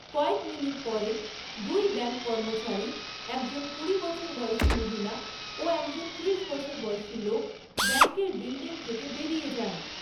কয়েক মিনিট পরে, দুই ব্যাঙ্ক কর্মচারী, একজন কুড়ি বছর বয়সী মহিলা ও একজন ত্রিশ বছর বয়সী লোক ব্যাঙ্কের বিল্ডিং থেকে বেরিয়ে যান।